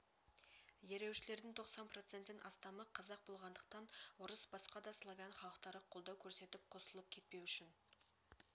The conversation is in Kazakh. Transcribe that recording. ереуілшілердің тоқсан проценттен астамы қазақ болғандықтан орыс басқа да славян халықтары қолдау көрсетіп қосылып кетпеу үшін